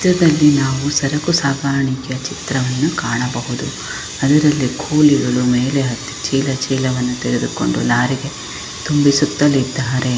ಈ ಚಿತ್ರದಲ್ಲಿ ನಾವು ಸರುಕು ಸಾಗಾಣಿಕೆಯ ಚಿತ್ರವನ್ನು ಕಾಣಬಹುದು ಅದರಲ್ಲಿ ಕೂಲಿಗಳು ಮೇಲೆ ಹತ್ತಿ ಚೀಲ ಚೀಲವನ್ನು ತೆಗೆದುಕೊಂಡು ಲಾರಿಗೆ ತುಂಬಿಸುತ್ತಲಿದ್ದಾರೆ.